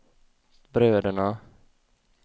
bröderna